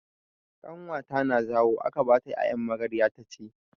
Ƙanwata na zawo aka bata 'ya'yan magarya taci.